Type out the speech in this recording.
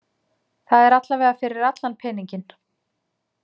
Það er allavega fyrir allan peninginn.